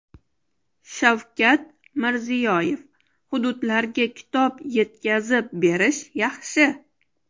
Shavkat Mirziyoyev: Hududlarga kitob yetkazib berish yaxshi.